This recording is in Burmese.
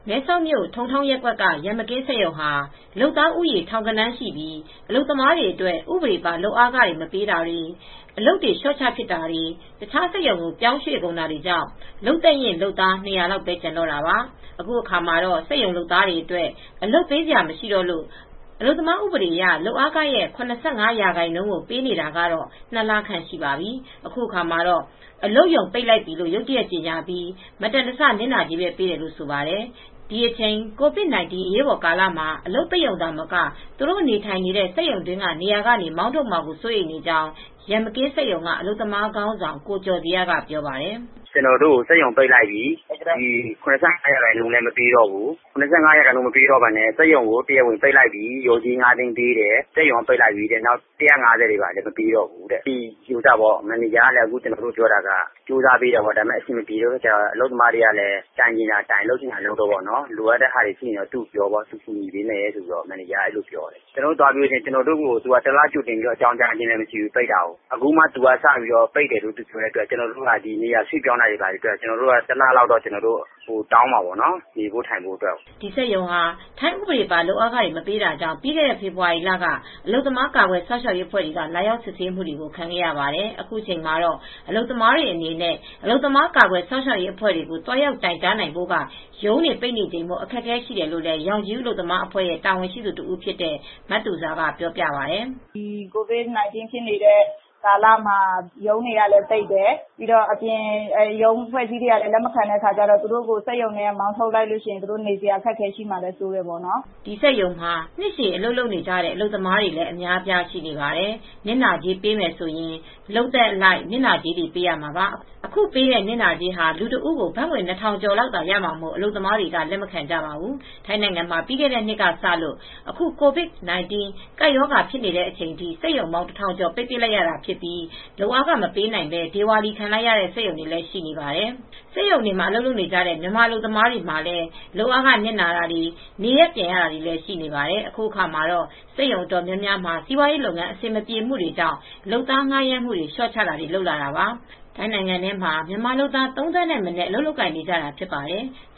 မဲဆောက်မြို့ ထုံထောင်းရပ်ကွက်က ရန်မကင်းစက်ရုံဟာ လုပ်သားဦးရေ ထောင်ဂဏန်းရှိပြီး အလုပ်သမားတွေအတွက် ဥပဒေပါ လုပ်အားခတွေ မပေးတာ အလုပ်တွေ လျှော့ချပစ်တာတွေ တခြားစက်ရုံကို ပြောင်းရွှေ့ကုန်တာကြောင့် လုပ်သက်ရင့် လုပ်သား၂၀၀ လောက်ပဲ ကျန်တော့တာပါ။ အခုအခါ စက်ရုံလုပ်သားတွေအတွက် အလုပ်ပေးစရာ မရှိတော့လို့ အလုပ်သမား ဥပဒေအရ လုပ်အားခရဲ့ ၇၅ ရာခိုင်နှုန်းကို ပေးနေတာကတော့ ၂လခန့်ရှိပါပြီ။ အခုအခါမှာတော့ အလုပ်ရုံပိတ်လိုက်ပြီလို့ ရုတ်တရက်ကြေငြာပြီး မတန်တဆနစ်နာကြေးပဲ ပေးတယ်လို့ ဆိုပါတယ်။ ဒီအချိန် COVID-19 အရေးပေါ်ကာလမှာ အလုပ်ရုံ ပိတ်ရုံမက သူတို့နေထိုင်နေတဲ့ စက်ရုံတွင်းက နေရာကနေမောင်းထုတ်မှာကို စိုးရိမ်နေကြာင်း ရန်မကင်းစက်ရုံက အလုပ်သမားခေါင်းဆောင် ကိုကျော်ဇေယျက ပြောပါတယ်။ "ကျနော်တို့ကို စက်ရုံက ပိတ်လိုက်ပြီ။ ၇၅ ရာခိုင်နှုန်းလည်း မပေးတော့ဘူး။ စက်ရုံကတရားဝင်ပိတ်လိုက်ပြီတဲ့ လျော်ကြေး ၅၀၀,၀၀၀ ပေးမယ်တဲ့ စက်ရုံက ပိတ်လိုက်ပြီတဲ့ ဘတ်ငွေ ၁၅၀ လည်း မပေးတော့ဘူးတဲ့ မန်နေဂျာက အဆင်ပြေအောင်လုပ်ပေးပေမယ့် သူလည်း လုပ်ပေးလို့ မရတော့လို့ အလုပ်သမားတွေအနေနဲ့ တိုင်ချင်ရာတိုင်ပေါ့။ လုပ်ချင်တာလုပ်ပေါ့။ လိုအပ်တာပြောတဲ့ သူတတ်နိုင်သလောက်တော့ အကူညီပေးမယ်လို့ ပြောတယ်။ ကျနော်တို့ကို တလကြိုတင်အကြောင်းကြားခြင်း မရှိဘူး။ ပိတ်တာက အခုမှ ပိတ်တာအတွက် နေရာရွှေ့ပြောင်းတာတွေအတွက် ကျနော်တို့ကတော့ ပြင်ဆင်ဖို့အတွက် တလလောက်တောင်းမယ်လို့ စဉ်းစားထားတယ် နေဖို့ထိုင်ဖို့အတွက်ကို။" ဒီစက်ရုံဟာ ထိုင်းဥပဒေပါ လုပ်အားခမပေးတာကြောင့် ပြီးခဲ့တဲ့ ဖေဖေါ်ဝါရီလက အလုပ်သမား ကာကွယ်စောင့်ရှောက်ရေးအဖွဲ့တွေက လာရောက်စစ်ဆေးမှုကို ခံခဲ့ရပါတယ်။ အခုအချိန်မှာ အလုပ်သမားတွေအနေနဲ့ အလုပ်သမား ကာကွယ်စောင့်ရှောက်ရေးအဖွဲ့တွေကို သွားရောက်တိုင်ကြားနိုင်ဖို့က ရုံးတွေ ပိတ်နေချိန်မို့ အခက်အခဲတွေ ရှိတယ်လို့ ရောင်ခြည်ဦး အလုပ်သမားအဖွဲ့က တာဝန်ရှိသူတဦးဖြစ်တဲ့ မသူဇာပြောပြပါတယ်။ "COVID-19 ဖြစ်နေတဲ့ကာလမှာ ရုံးတွေကလည်း ပိတ်နေတယ်။ သူတို့ကို စက်ရုံကလည်းလက်မခံပဲ မောင်းထုတ်မယ်ဆိုရင် သူတို့နေထိုင်ဖို့ ခက်ခဲမှာလည်း စိုးရိမ်နေကြတယ်ပေါ့နော်။ ဒီစက်ရုံမှာ နှစ်ရှည်အလုပ်လုပ်နေတဲ့ အလုပ်သမားတွေလည်း အများအပြား ရှိနေပါတယ်။ နစ်နာကြေးပေးမယ်ဆိုရင် လုပ်သက်အလိုက် နစ်နာကြေးပေးရမှာပါ။ အခုပေးတဲ့နစ်နာကြေးဟာ လူတဦးကို ဘတ်ငွေ ၂,၀၀၀ ကျော်လောက်သာရမှာမို့ အလုပ်သမားတွေကလက်မခံကြပါဘူး။" ထိုင်းနိုင်ငံမှာ ပြီးခဲ့တဲ့နှစ်ကစလို့အခု COVID-19 ကပ်ရောဂါဖြစ်နေတဲ့အချိန်ထိ စက်ရုံပေါင်း ၁,၀၀၀ ကျော် ပိတ်ပစ်ခဲ့ရတာ ဖြစ်ပြီး လုပ်အားခ မပေးနိုင်ဘဲ ဒေဝါလီခံလိုက်တဲ့ စက်ရုံတွေလည်း ရှိနေပါတယ်။ စက်ရုံတွေမှာ အလုပ်လုပ်နေကြတဲ့ မြန်မာအလုပ်သမားတွေ မှာလည်း လုပ်အားခ နစ်နာတာတွေ၊ နေရပ်ပြန်ရတာတွေလည်း ရှိနေပါတယ်။ အခုအခါမှာတော့ စက်ရုံအတော်များများမှာ စီးပွားရေး လုပ်ငန်း အဆင်မပြေမှုတွေကြောင့် လုပ်သား ငှါးရမ်းမှု လျှော့ချတာတွေ လုပ်လာတာပါ။ ထိုင်းနိုင်ငံထဲမှာ မြန်မာလုပ်သား ၃သန်းထက်မနည်း အလုပ်လုပ်ကိုင် နေကြတာဖြစ်ပါတယ်။